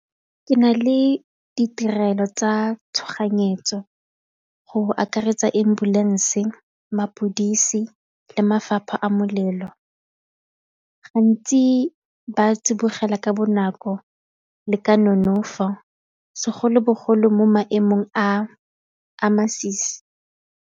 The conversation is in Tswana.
Ke na le ditirelo tsa tshoganyetso go akaretsa ambulance, mapodisi le mafapha a molelo, gantsi ba tsibogela ka bonako le ka nonofo segolobogolo mo maemong a a masisi.